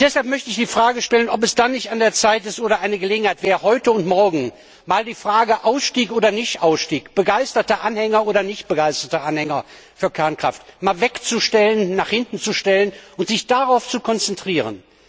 Deshalb möchte ich die Frage stellen, ob es nicht an der Zeit ist oder eine Gelegenheit wäre, heute und morgen die Frage Ausstieg oder Nichtausstieg, begeisterter Anhänger oder nichtbegeisterter Anhänger der Kernkraft einmal hinten anzustellen und sich darauf zu konzentrieren.